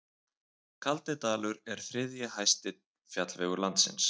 Kaldidalur er þriðji hæsti fjallvegur landsins.